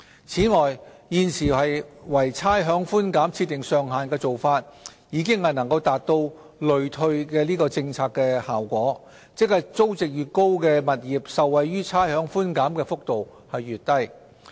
此外，現時為差餉寬減設定上限的做法，已能達致累退的政策效果，即租值越高的物業受惠於差餉寬減的幅度越低。